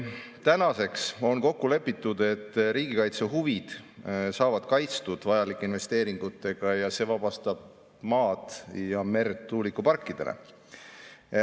Tänaseks on kokku lepitud, et riigikaitse huvid saavad kaitstud vajalike investeeringutega ja see vabastab maad ja merd tuulikuparkidele.